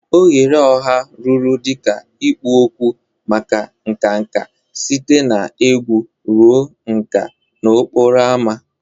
Oghere ọha rụrụ dị ka ikpo okwu maka nka nka, site na egwu ruo nka n'okporo ámá.